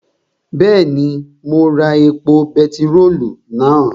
Bẹ́ẹ̀ni, mo ra epo bentiróòlù náà